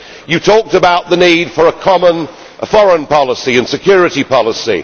You talked about the need for a common foreign policy and security policy.